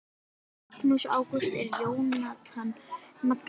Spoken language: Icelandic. Magnús Ágúst og Jónatan Magni